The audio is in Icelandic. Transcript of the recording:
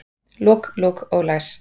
Lok, lok og læs